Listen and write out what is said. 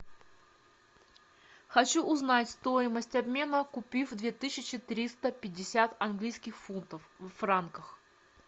хочу узнать стоимость обмена купив две тысячи триста пятьдесят английских фунтов в франках